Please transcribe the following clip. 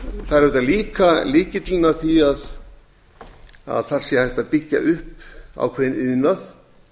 það er auðvitað lykillinn að því að þar sé hægt að byggja upp ákveðinn iðnað